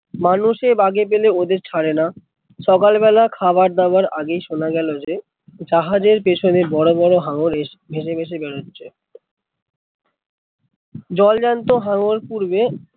মানুষ এ বাগে পেলে ওদের ছাড়ে না, সকাল বেলা খাওয়ার দাওয়ার আগে শোনা গেলো যে, জাহাজের পেছনে বড়ো বড়ো হাঙ্গার এসে ভেসে ভেসে বেড়াচ্ছে, জল জ্যান্ত হাঙর পূর্বে